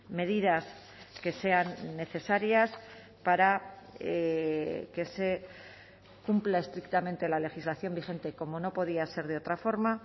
medidas que sean necesarias para que se cumpla estrictamente la legislación vigente como no podía ser de otra forma